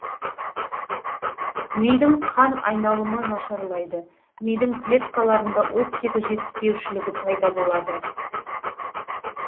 мидың қан айналымы нашарлайды мидың клеткаларында оттегі жетіспеушілігі пайда болады